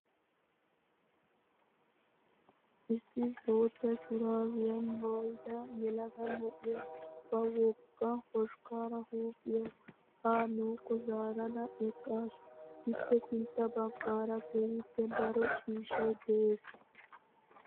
Issi bootta shuraabiyaa maayyida yelaga na'iyaa ba wogga hoshkkaara huuphphiyaa haa nuukko zaarada eqqaasu. Ippe sintta baggaara keehippe daro ciishshayi des.